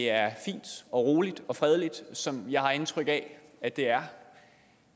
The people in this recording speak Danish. er fint og roligt og fredeligt som jeg har indtryk af at der er